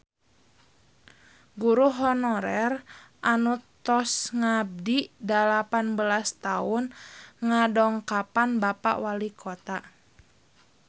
Guru honorer anu tos ngabdi dalapan belas tahun ngadongkapan Bapak Walikota